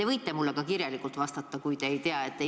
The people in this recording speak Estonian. Te võite mulle ka kirjalikult vastata, kui te vastust praegu ei tea.